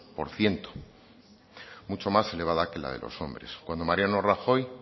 por ciento mucho más elevada que la de los hombres cuando mariano rajoy